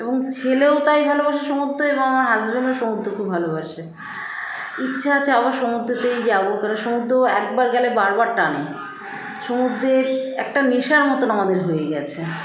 এবং ছেলেও তাই ভালোবাসে সমুদ্রে এবং আমার husband -ও সমুদ্র খুব ভালোবাসে ইচ্ছা আছে আবার সমুদ্রতেই যাবো কারণ সমুদ্র একবার গেলে বারবার টানে সমুদ্রে একটা নেশার মতো আমাদের হয়ে গেছে